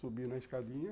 Subiu na escadinha.